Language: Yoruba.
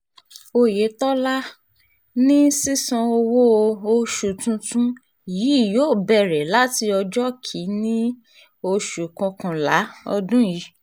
oyetola um ní sísan owó-oṣù tuntun yìí yóò bẹ̀rẹ̀ láti ọjọ́ kìn-ín-ní um oṣù kọkànlá ọdún yìí